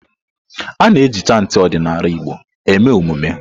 A-na eji chantị ọdịnala Igbo eme emume.